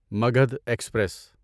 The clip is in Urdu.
مگدھ ایکسپریس